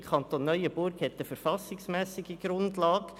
Der Kanton Neuenburg hat eine verfassungsmässige Grundlage.